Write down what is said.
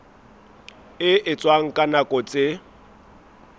e etswang ka nako tse